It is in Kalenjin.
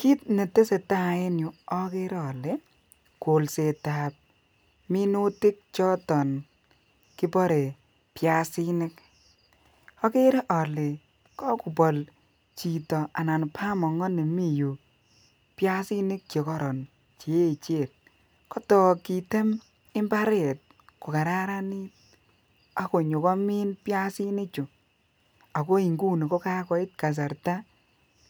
Kit netesetai en yuu okere ole koksetab minutik choton kibore piasinik okere ole kokobol chito anan bamoko ni Mii yuu piasinik chekoron cheyechen kotok kiten imbaret ko kararanit ak konyo komin piasinik chuu ako nguni ko kakoit kasarta